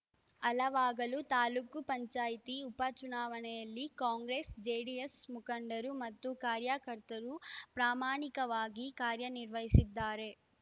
ಹಲವಾಗಲು ತಾಲೂಕು ಪಂಚಾಯಿತಿ ಉಪಚುನಾವಣೆಯಲ್ಲಿ ಕಾಂಗ್ರೆಸ್‌ಜೆಡಿಎಸ್‌ ಮುಖಂಡರು ಮತ್ತು ಕಾರ್ಯಕರ್ತರು ಪ್ರಾಮಾಣಿಕವಾಗಿ ಕಾರ್ಯನಿರ್ವಹಿಸಿದ್ದಾರೆ